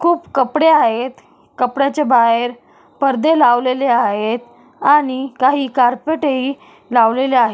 खूप कपडे आहेत कपड्याच्या बाहेर पडदे लावलेले आहेत आणि काही कारपेट ही लावलेले आहे.